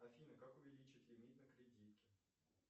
афина как увеличить лимит на кредитке